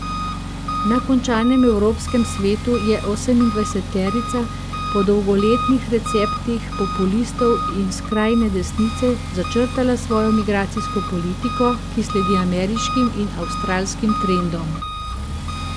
Na končanem evropskem svetu je osemindvajseterica po dolgoletnih receptih populistov in skrajne desnice začrtala svojo migracijsko politiko, ki sledi ameriškim in avstralskim trendom.